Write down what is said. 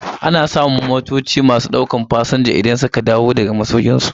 Ana samun motoci a filin jiragen masu daukan Fasinjoji da suka dawo zuwa masaukinsu.